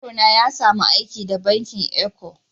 Yaro na ya samu aiki da bankin Eco.